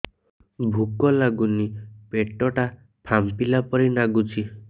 ଭୁକ ଲାଗୁନି ପେଟ ଟା ଫାମ୍ପିଲା ପରି ନାଗୁଚି